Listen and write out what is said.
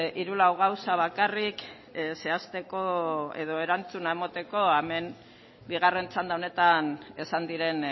hiru lau gauza bakarrik zehazteko edo erantzuna emateko hemen bigarren txanda honetan esan diren